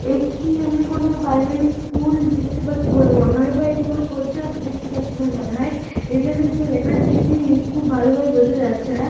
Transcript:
একটি আমি কোন প্রাইমারি স্কুল দেখতে পাচ্ছি বলে মনে হয় বা এটি কোন পঞ্চায়েত দেখতে পাচ্ছি বলে মনে হয় এখানে যে লেখাটি সেটি-ই খুব ভালভাবে বোঝা যাচ্ছে না।